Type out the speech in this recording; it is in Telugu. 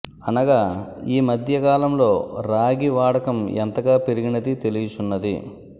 అనగా ఈ మధ్య కాలంలో రాగి వాడకం ఎంతగా పెరిగినది తెలియుచున్నది